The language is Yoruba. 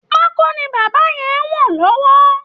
Pákó ni bàbá yẹn ń wọ̀n lọ́wọ́